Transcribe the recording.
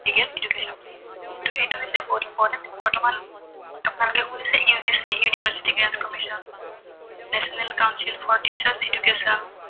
real education, so ত এইটো হৈছে বহুত important বৰ্তমান আপোনালোকে শুনিছে UGC University Grunt Commission Natioonal Council for Teachers Education